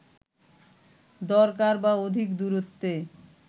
দরকার বা অধিক দূরত্বে